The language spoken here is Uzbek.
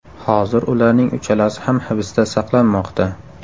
Hozir ularning uchalasi ham hibsda saqlanmoqda.